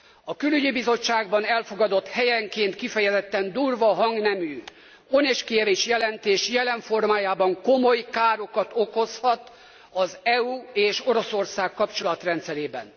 A Külügyi Bizottságban elfogadott, helyenként kifejezetten durva hangnemű Onyszkiewicz jelentés jelen formájában komoly károkat okozhat az EU és Oroszország kapcsolatrendszerében.